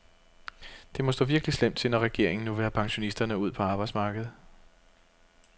Det må stå virkelig slemt til, når regeringen nu vil have pensionisterne ud på arbejdsmarkedet.